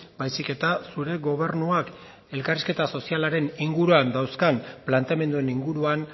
baizik eta zure gobernuak elkarrizketa sozialaren inguruan dauzkan planteamenduen inguruan